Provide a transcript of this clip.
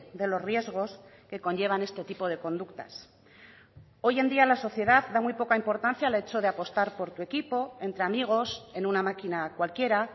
de los riesgos que conllevan este tipo de conductas hoy en día la sociedad da muy poca importancia al hecho de apostar por tu equipo entre amigos en una máquina cualquiera